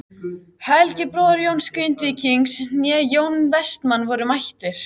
Neskaupstað en brá mér annað slagið út á vinnumarkaðinn.